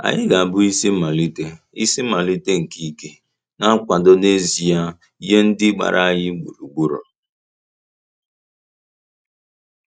Anyị ga-abụ isi mmalite isi mmalite nke ike na nkwado n’ezie nye ndị gbara anyị gburugburu.